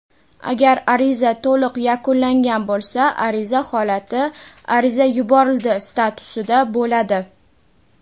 Agar ariza to‘liq yakunlangan bo‘lsa ariza holati "Ariza yuborildi" statusida bo‘ladi.